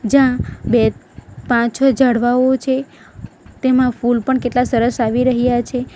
જ્યાં બે પાંચ છો ઝાડવાઓ છે તેમાં ફૂલ પણ કેટલા સરસ આવી રહ્યા છે.